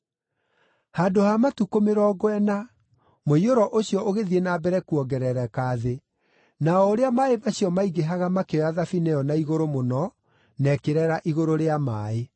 Handũ ha matukũ mĩrongo ĩna, mũiyũro ũcio ũgĩthiĩ na mbere kuongerereka thĩ, na o ũrĩa maaĩ macio maingĩhaga makĩoya thabina ĩyo na igũrũ mũno na ĩkĩreera igũrũ rĩa maaĩ.